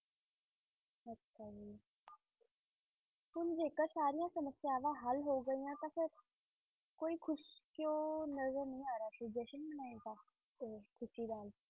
ਹੁਣ ਜੇਕਰ ਸਾਰੀਆਂ ਸਮੱਸਿਆਵਾਂ ਹੱਲ ਹੋ ਗਈਆਂ ਤਾਂ ਫਿਰ ਕੋਈ ਖ਼ੁਸ਼ ਕਿਉਂ ਨਜ਼ਰ ਨਹੀਂ ਆ ਰਿਹਾ ਸੀ ਜਸ਼ਨ ਮਨਾਏ ਦਾ ਤੇ ਖ਼ੁਸ਼ੀ ਦਾ।